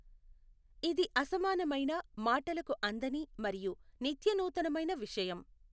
ఇది అసమానమైన, మాటలకు అందని మరియు నిత్య నూతనమైన విషయం.